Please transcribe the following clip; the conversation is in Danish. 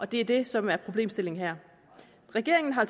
det er det som er problemstillingen her regeringen har